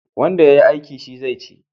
Wanda ya yi aiki, shi zai ci.